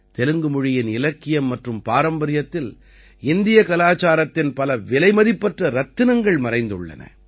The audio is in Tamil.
தெலுங்கு மொழியின் இலக்கியம் மற்றும் பாரம்பரியத்தில் இந்திய கலாச்சாரத்தின் பல விலைமதிப்பற்ற ரத்தினங்கள் மறைந்துள்ளன